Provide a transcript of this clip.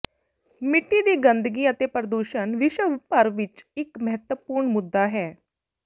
ਮਿੱਟੀ ਦੀ ਗੰਦਗੀ ਅਤੇ ਪ੍ਰਦੂਸ਼ਣ ਵਿਸ਼ਵ ਭਰ ਵਿਚ ਇਕ ਮਹੱਤਵਪੂਰਨ ਮੁੱਦਾ ਹੈ